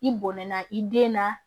I bɔnɛna i den na